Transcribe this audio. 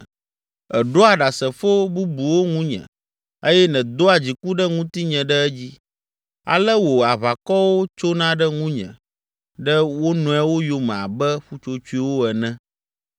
Èɖoa ɖasefo bubuwo ŋunye eye nèdoa dziku ɖe ŋutinye ɖe edzi, ale wò aʋakɔwo tsona ɖe ŋunye ɖe wo nɔewo yome abe ƒutsotsoewo ene.